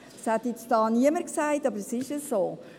Das hat jetzt hier niemand gesagt, aber es ist so.